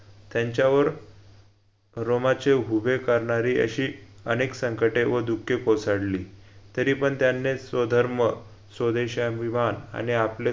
त्यांच्यावर रोमाचे हुभे करणारी अशी अनेक संकटे व दुखे कोसडली तरीपण त्यांनी स्वधर्म स्वदेशाभिमान आणि आपले